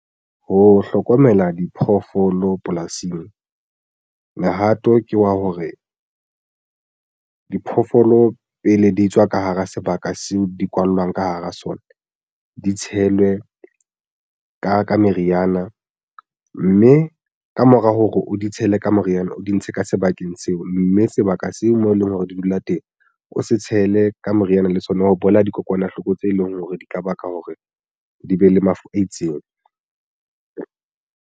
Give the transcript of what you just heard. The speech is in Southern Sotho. Ho hlokomela diphoofolo polasing mehato ke wa hore diphoofolo pele di tswa ka hara sebaka seo di kwallwang ka hara sona di tshelwe ka meriana, mme ka mora hore o di tshele ka moriana o di ntshe ka sebakeng seo mme sebaka seo mo e leng hore di dula teng o se tshele ka moriana le sona ka ho bolaya dikokwanahloko tse leng hore di ka baka hore di be le mafu a itseng.